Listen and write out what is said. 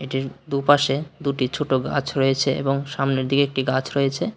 এটির দুপাশে দুটি ছোট গাছ রয়েছে এবং সামনের দিকে একটি গাছ রয়েছে।